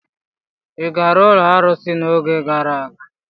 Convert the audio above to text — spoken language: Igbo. Ị gara ụlọ arụsị n'oge gara aga?